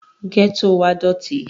gẹ́tò wa dọ̀tí